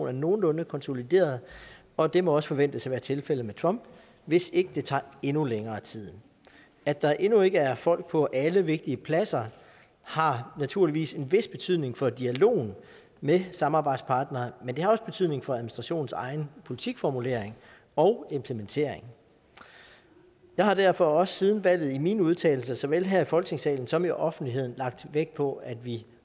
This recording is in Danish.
er nogenlunde konsolideret og det må også forventes at være tilfældet med trump hvis ikke det tager endnu længere tid at der endnu ikke er folk på alle vigtige pladser har naturligvis en vis betydning for dialogen med samarbejdspartnere men det har også betydning for administrationens egen politikformulering og implementering jeg har derfor også siden valget i mine udtalelser såvel her i folketingssalen som i offentligheden lagt vægt på at vi